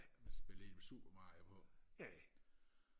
spille super mario på